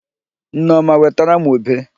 Nneọma wetara m ube.